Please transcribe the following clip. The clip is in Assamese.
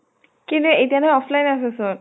কি ৰে এতিয়া টো offline আছʼ চোন।